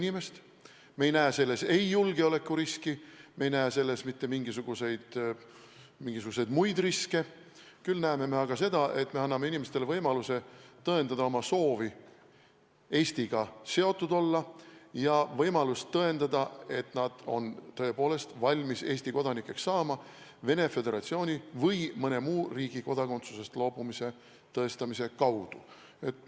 Me ei näe selles ei julgeolekuriski, me ei näe selles mitte mingisuguseid muid riske, küll aga näeme seda, et me anname inimestele võimaluse tõendada oma soovi Eestiga seotud olla ja võimalust tõendada, et nad on tõepoolest valmis Eesti kodanikeks saama Venemaa Föderatsiooni või mõne muu riigi kodakondsusest loobumise kaudu.